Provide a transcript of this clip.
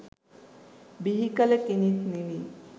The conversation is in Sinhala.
බිහිකළ කෙනෙක් නෙමෙයි.